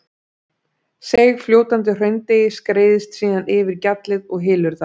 Seigfljótandi hraundeigið skreiðist síðan yfir gjallið og hylur það.